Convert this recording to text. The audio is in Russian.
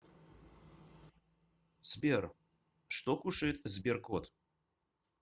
сбер что кушает сберкот